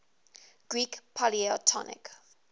greek polytonic